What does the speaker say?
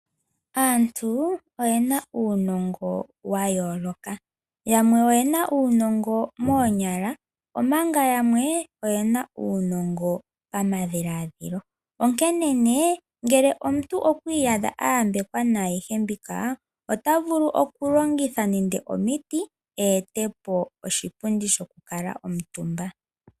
Aantu oyena uunongo wa yooloka, yamwe oyena uunongo moonyala omanga yamwe oyena uunongo pamadhiladhilo. Onkene ne ngele omuntu okwi iyadha a yambekwa naayihe mbika, ota vulu oku longitha nande omiti a etepo oshipundi shoku kala omutumba.